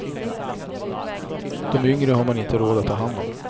De yngre har man inte råd att ta hand om.